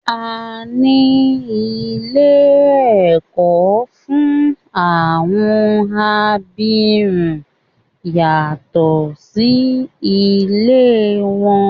A ní ilé ẹ̀kọ́ fún àwọn abirùn yàtọ̀ sí ilé wọn.